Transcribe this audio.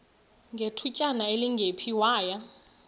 ngethutyana elingephi waya